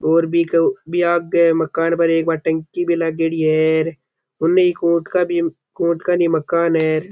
और बिक बी आगे मकान पर एक आ एक टंकी भी लागेड़ी है उन ही कोर्ट का भी मकान है।